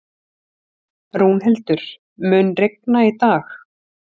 Rúnhildur, mun rigna í dag?